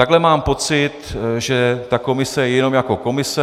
Takhle mám pocit, že ta komise je jenom jako komise.